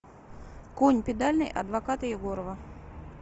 конь педальный адвоката егорова